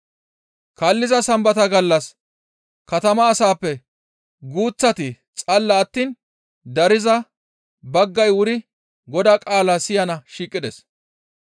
Kaalliza Sambata gallas katama asappe guuththati xalala attiin dariza baggay wuri Godaa qaalaa siyana shiiqides.